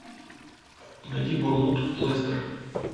найди борнмут лестер